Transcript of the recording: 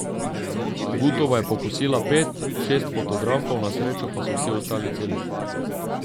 Gutova je pokosila pet, šest fotografov, na srečo pa so vsi ostali celi.